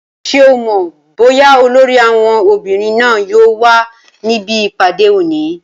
Ṣé o mọ̀ bóyá olórí àwọn obìnrin náà yóò wà níbi ìpàdé òní?